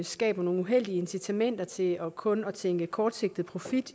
skaber nogle uheldige incitamenter til kun at tænke kortsigtet profit